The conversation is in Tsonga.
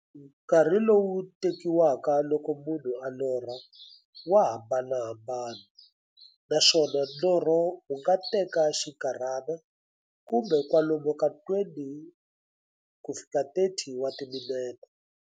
Nkarhi lowu tekiwaka loko munhu a lorha, wa hambanahambana, naswona norho wu nga teka xinkarhana, kumbe kwalomu ka 20-30 wa timinete.